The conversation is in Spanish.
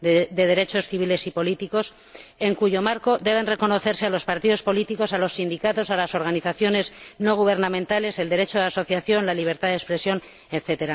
de Derechos Civiles y Políticos, en cuyo marco debe reconocerse a los partidos políticos, a los sindicatos, a las organizaciones no gubernamentales, el derecho de asociación, la libertad de expresión, etc.